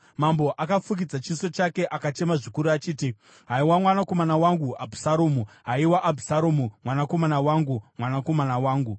Mambo akafukidza chiso chake akachema zvikuru achiti, “Haiwa mwanakomana wangu Abhusaromu! Haiwa Abhusaromu, mwanakomana wangu, mwanakomana wangu!”